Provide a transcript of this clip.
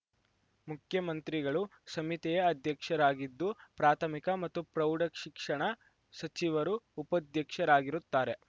ಮುಖ್ಯಮಂತ್ರಿಗಳು ಸಮಿತಿಯ ಅಧ್ಯಕ್ಷರಾಗಿದ್ದು ಪ್ರಾಥಮಿಕ ಮತ್ತು ಪ್ರೌಢಶಿಕ್ಷಣ ಸಚಿವರು ಉಪಾಧ್ಯಕ್ಷರಾಗಿರುತ್ತಾರೆ